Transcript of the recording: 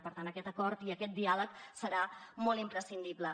per tant aquest acord i aquest diàleg seran molt imprescindibles